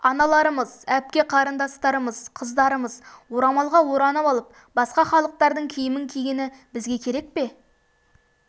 аналарымыз әпке-қарындастарымыз қыздарымыз орамалға оранып алып басқа халықтардың киімін кигені бізге керек пе